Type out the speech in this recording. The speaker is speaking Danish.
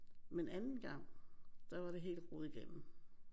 Men anden gang der var det helt rodet igennem